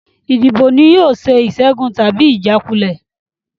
Ìdìbò ni yóò sọ ìṣẹ́gun tàbí ìjákulẹ̀